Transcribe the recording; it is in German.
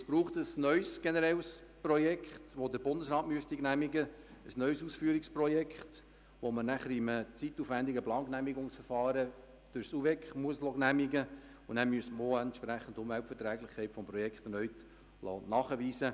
Denn es bräuchte ein neues generelles Projekt, das der Bundesrat genehmigen müsste, ein neues Ausführungsprojekt, das man in einem zeitaufwendigen Baugenehmigungsverfahren durch das Eidgenössische Departement für Umwelt, Verkehr, Energie und Kommunikation (UVEK) genehmigen lassen müsste, und den erneuten Nachweis der Umweltverträglichkeit.